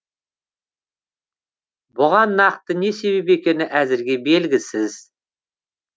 бұған нақты не себеп екені әзірге белгісіз